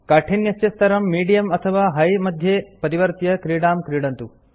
काठिन्यस्य स्तरं मीडियम अथवा हार्ड मध्ये परिवर्त्य क्रीडां क्रीडतु